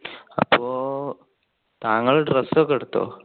അപ്പോ താങ്കൾ dress ഒക്കെ എടുത്തോ?